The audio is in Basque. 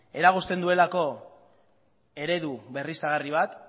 eragozten duelako eredu berriztagarri bat